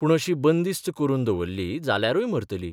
पूण अशी बंदिस्त करून दवल्ली जाल्यारूय मरतली.